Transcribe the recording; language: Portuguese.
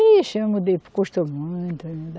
Ixi, eu mudei, custou muito, ainda.